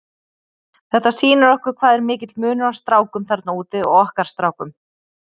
Þetta sýnir okkur hvað er mikill munur á strákum þarna úti og okkar strákum.